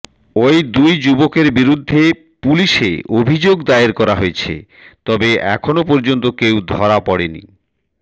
ওই দুই যুবকের বিরুদ্ধে পুলিশে অভিযোগ দায়ের করা হয়েছে তবে এখনও পর্যন্ত কেউ ধরা পড়েনি